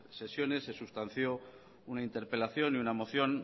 sesiones se sustanció una interpelación y un moción